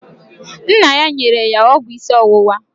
Nna ya nyere ya ọgwụ isi ọwụwa